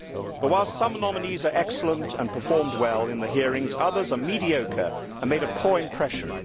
But whilst some nominees are excellent and performed well in the hearings, others are mediocre and made a poor impression.